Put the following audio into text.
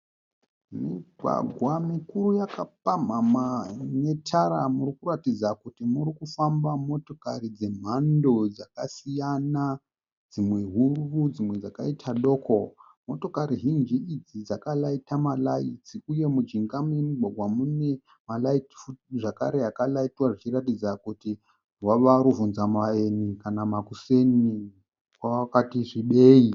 Mugwagwa mukuru yakapamhamha ine tara murikuratidza kuti muri kufamba motokari dzemhando dzakasiyana. Dzimwe huru dzimwe dzakaita doko. Motokari zhinji idzi dzakaraita maraitsi uye mujinga memugwagwa mune maraitsi futi akaraitwa zvichiratidza kuti hwava hubvunzavaeni kana kuti makuseni kwakati svibei.